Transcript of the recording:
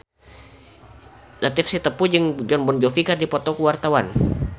Latief Sitepu jeung Jon Bon Jovi keur dipoto ku wartawan